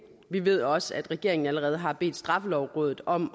vi ved også at regeringen allerede har bedt straffelovrådet om